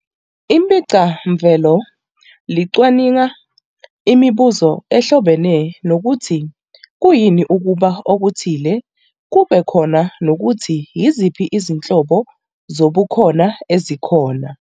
iPhicamvelo licwaninga imibuzo ehlobene nokuthi kuyini ukuba okuthile kube khona nokuthi yiziphi izinhlobo zobukhona ezikhona.